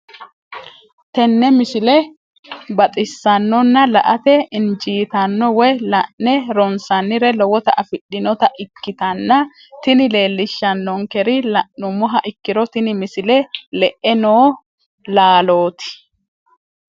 tenne misile baxisannonna la"ate injiitanno woy la'ne ronsannire lowote afidhinota ikkitanna tini leellishshannonkeri la'nummoha ikkiro tini misile le'e noo laalooti.